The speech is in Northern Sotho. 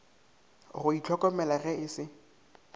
go ihlokomela ge e se